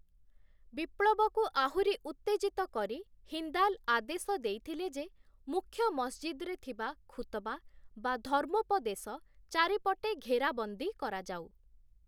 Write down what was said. ବିପ୍ଳବକୁ ଆହୁରି ଉତ୍ତେଜିତ କରି ହିନ୍ଦାଲ ଆଦେଶ ଦେଇଥିଲେ ଯେ, ମୁଖ୍ୟ ମସଜିଦ୍‌ରେ ଥିବା ଖୁତବା ବା ଧର୍ମୋପଦେଶ, ଚାରିପଟେ ଘେରାବନ୍ଦୀ କରାଯାଉ ।